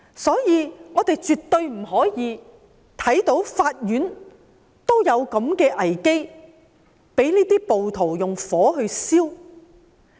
所以，我們絕不可以容忍法院陷入這樣的危機，被暴徒縱火破壞。